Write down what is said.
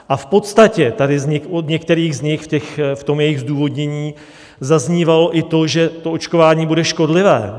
A v podstatě tady od některých z nich v tom jejich zdůvodnění zaznívalo i to, že to očkování bude škodlivé.